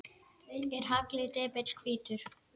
Er haglið depill hvítur?